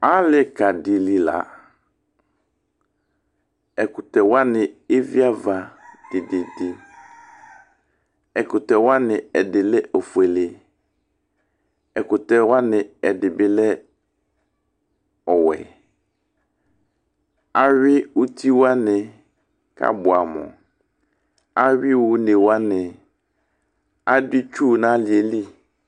Alika dilɩla Ɛkʊtɛ waɲi eviava tetete Ɛkʊtɛ waɲi ɛdilɛ ɔƒuele, ɛkʊtɛ waɲi ɛdibilɛ ɔwɛ Awi ʊtiwaɲi kabuamʊ Awi ɔɲewaɲɩ Adʊ itsu ɲalili